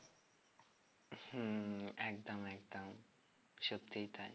হম একদম একদম সত্যি তাই